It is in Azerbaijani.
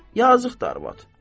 Yazıqdır arvad.